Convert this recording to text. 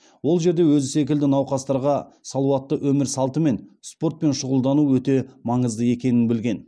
ол жерде өзі секілді науқастарға салауатты өмір салты мен спортпен шұғылдану өте маңызды екенін білген